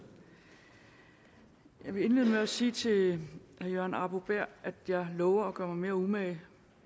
jeg vil indlede med at sige til herre jørgen arbo bæhr at jeg lover at gøre mig mere umage